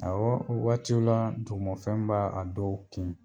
waatiw la dugufɛn b'a a dɔw kin.